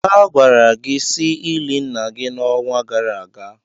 A gwara gị si ili nna gị n'onwa gara aga.